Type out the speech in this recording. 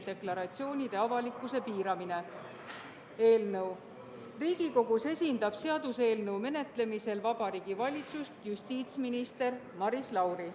Riigikogus esindab seaduseelnõu menetlemisel Vabariigi Valitsust justiitsminister Maris Lauri.